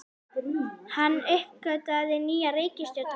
Hann uppgötvaði nýja reikistjörnu!